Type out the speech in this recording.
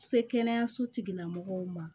Se kɛnɛyaso tigila mɔgɔw ma